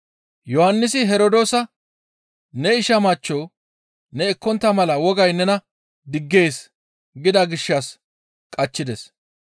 Yohannisi Herdoosa, «Ne isha machcho ne ekkontta mala wogay nena diggees» gida gishshas qachchides.